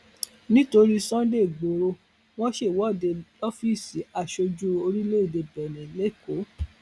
nítorí sunday igboro wọn ṣèwọde lọfíìsì aṣojú orílẹèdè bẹńẹ lẹkọọ